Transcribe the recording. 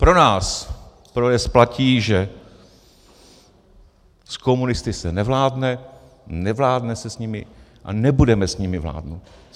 Pro nás, pro ODS, platí, že s komunisty se nevládne, nevládne se s nimi a nebudeme s nimi vládnout.